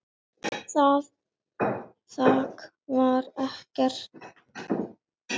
Þak var ekkert.